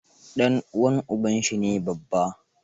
Ɗan uwan uba shi ne Baffa.